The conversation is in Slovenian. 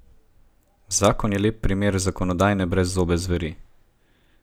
Zakon je lep primer zakonodajne brezzobe zveri.